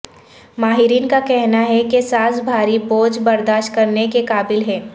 ماہرین کا کہنا ہے کہ سانس بھاری بوجھ برداشت کرنے کے قابل ہے